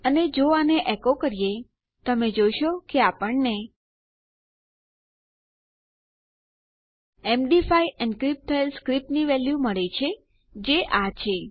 અને જો આને એકો કરીએ તમે જોશો કે આપણને એમડી5 એનક્રીપ્ટ થયેલી સ્ક્રીપ્ટની વેલ્યું મળે છે જે આ છે